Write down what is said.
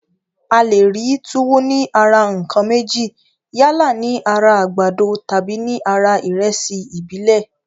A le rí túwó ní ara ǹkan méjì, yálà ní ara àgbàdo tàbí ní ara ìrẹsì ìbílẹ̀